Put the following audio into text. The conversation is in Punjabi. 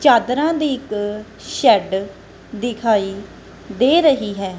ਚਾਦਰਾਂ ਦੀ ਇੱਕ ਸ਼ੈੱਡ ਦਿਖਾਈ ਦੇ ਰਹੀ ਹੈ।